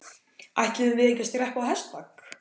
Ætluðum við ekki að skreppa á hestbak?